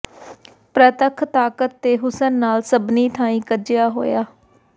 ਪ੍ਰਤੱਖ ਤਾਕਤ ਤੇ ਹੁਸਨ ਨਾਲ ਸਭਨੀਂ ਥਾਈਂ ਕੱਜਿਆ ਹੋਇਆ